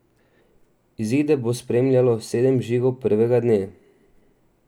Izide bo spremljalo sedem žigov prvega dne.